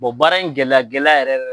baara in gɛlɛya gɛlɛya yɛrɛ